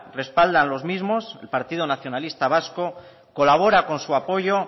respaldan los mismos el partido nacionalista vasco colabora con su apoyo